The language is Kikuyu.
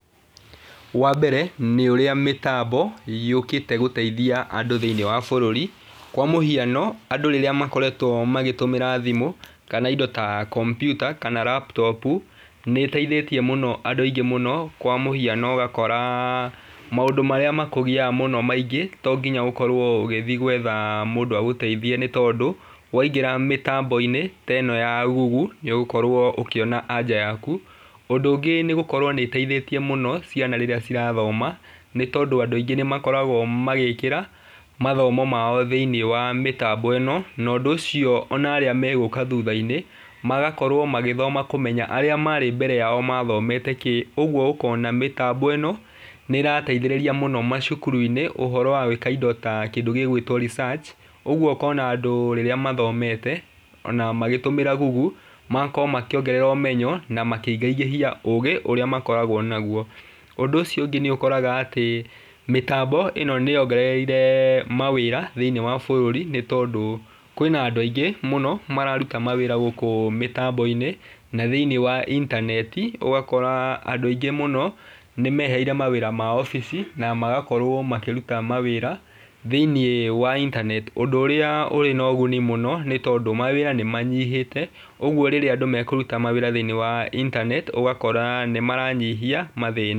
Wa mbere, nĩ ũrĩa mĩtambo yũkĩte gũteithia andũ thĩĩniĩ wa bũrũri. Kwa mũhiano andũ rĩrĩa makoretwo magĩtũmĩra thimũ, kana indo ta kompiuta, kana laptop nĩ ĩteithĩtie mũno andũ aingĩ mũno kwa mũhiano ũgakora, maũndũ marĩa makũgiaga mũno maingĩ tonginya ũkorwo ũgĩthi gwetha mũndũ agũteithie nĩ tondũ, waingira mĩtambo-inĩ teno ya google nĩ ũgũkorwo ũkĩona anja yaku. Ũndũ ũngĩ nĩ gũkorwo nĩ ĩteithĩtie mũno ciana rĩrĩa cirathoma, nĩ tondũ andũ aingi nĩ makoragwo magĩkĩra mathomo mao thĩiniĩ wa mĩtambo ĩno, na ũndũ ũcio onarĩa megũka thutha-inĩ magakorwa magĩthoma kũmenya arĩa marĩ mbere yao mathomete kĩ, ũguo ũkona mĩtambo ĩno nĩ ĩrateitherĩria mũno nginya cukuruinĩ ũhoro wa gwĩka indo ta gĩgwĩtwa research, ũguo ũkona andũ rĩrĩa mathomete ona magĩtũmĩra google magakorwo makĩongererwo ũmenyo na makĩngĩngĩhia ũgĩ ũrĩa makoragwo naguo. Ũndũ ũcio ũngĩ nĩ ũkoraga atĩ, mĩtambo ĩno nĩ yongereire mawĩra thĩiniĩ wa bũrũri, nĩ tondũ kwĩna andũ aingĩ mũno mararuta mawĩra gũkũ mĩtambo-inĩ na thĩiniĩ wa intaneti ũgakora andũ aingĩ mũno, nĩ mehereire mawĩra mao obici na magakorwo makĩruta mawĩra thĩiniĩ wa intaneti ũndũ ũrĩa ũrĩ na ũguni mũno nĩ tondũ mawĩra nĩ manyihĩte, ũguo rĩrĩa andũ mekũruta mawĩra thĩiniĩ wa intaneti ũgakora nĩ maranyihia mathĩna.